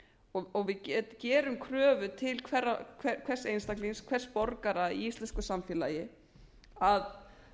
og við gerum kröfu til hvers einstaklings hvers borgara í íslensku samfélagi að